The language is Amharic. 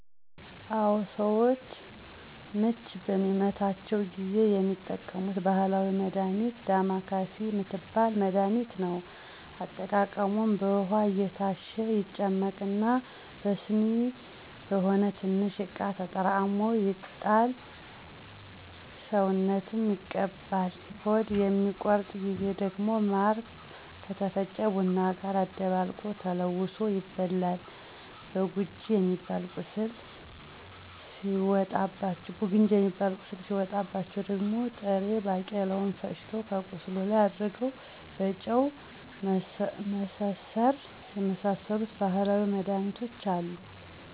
አወ፦ ሰዎች ምች በሚመታቸው ጊዜ የሚጠቀሙት ባህላዊ መድሃኒት ዳማካሲ ምትባል መድሃኒትን ነው። አጠቃቀሙም በውሃ እየታሸ ይጨመቅና በስኒ ወይም በሆነ ትንሽ እቃ ተጠራቅሞ ይጣል ሰውነትም ይቀባል። ሆድ በሚቆርጥበተ ጊዜ ደግሞ ማር ከተፈጨ ቡና ጋር አደባልቆ ተለውሶ ይበላል። ብጉንጅ ሚባል ቁስል ሢወጣባቸው ደግሞ ጥሬ ባቄላውን ፈጭቶ ከቁስሉ ላይ አድርጎ በጨርቅ መሰሠር የመሳሠሉ ባህላዊ መድሃኒቶች አሉ።